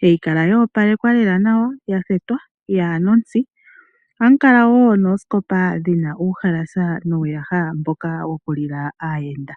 hayi kala ya opalekwa lela nawa yathetwa yaana omutsi ohamu kala woo noosikopa dhina uuhalasa nuuyaha mboka wokulila aayenda.